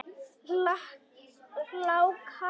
Hláka í dag.